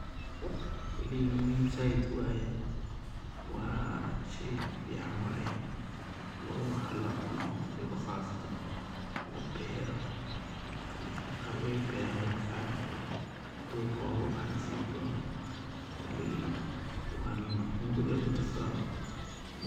Koley muhim said waye wa shey fican waye wa wax lacuno waliba qasatan labero dadka qar wey beran dadka qarna durka ogabaxa nasibkod, koley hunguri aya lugudarsada un.